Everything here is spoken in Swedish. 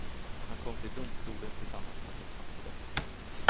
Han kom till domstolen tillsammans med sin faster.